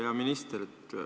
Hea minister!